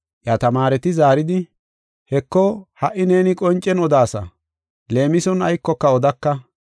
Iya tamaareti zaaridi, “Heko, ha77i neeni qoncen odaasa; leemison aykoka odaka.